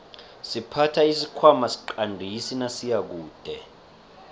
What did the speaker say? siphatha isikhwana siqandisi nasiyakude